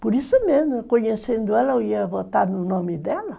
Por isso mesmo, conhecendo ela, eu ia votar no nome dela.